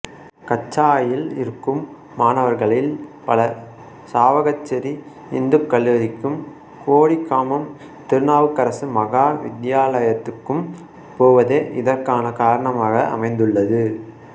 கச்சாயில் இருக்கும் மாணவர்களில் பலர் சாவகச்சேரி இந்துக் கல்லூரிக்கும் கொடிகாமம் திருநாவுக்கரசு மகா வித்தியாலயத்துக்கும் போவதே இதற்கான காரணமாக அமைந்துள்ளது